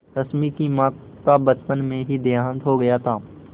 रश्मि की माँ का बचपन में ही देहांत हो गया था